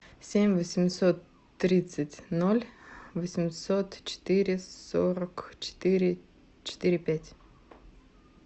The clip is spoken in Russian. семь восемьсот тридцать ноль восемьсот четыре сорок четыре четыре пять